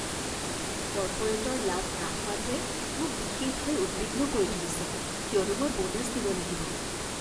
কৰ্পৰেটৰ লাভ হ্ৰাস হোৱাটোৱে মোক বিশেষভাৱে উদ্বিগ্ন কৰি তুলিছে কিয়নো মই বোনাছ দিব লাগিব।